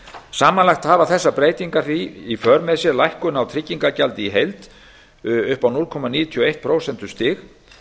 lækkað samanlagt hafa þessar breytingar því í för með sér lækkun á tryggingagjaldi í heild upp á núll komma níutíu og eitt prósentustig